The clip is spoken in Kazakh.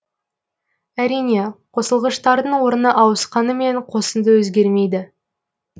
әрине қосылғыштардың орны ауысқанымен қосынды өзгермейді